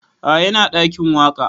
A'a ina ɗakin waƙa